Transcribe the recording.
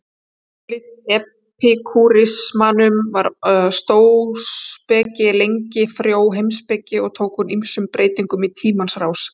Ólíkt epikúrismanum var stóuspeki lengi frjó heimspeki og tók hún ýmsum breytingum í tímans rás.